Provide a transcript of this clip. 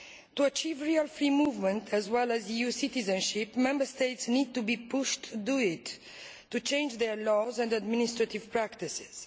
To achieve real free movement as well as EU citizenship, Member States need to be pushed to do it, to change their laws and administrative practices.